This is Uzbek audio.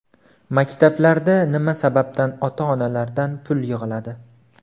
Maktablarda nima sababdan ota-onalardan pul yig‘iladi?